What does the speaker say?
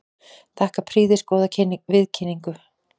Þakka prýðisgóða viðkynningu.